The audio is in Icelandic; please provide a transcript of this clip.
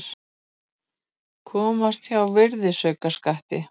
Komast hjá virðisaukaskatti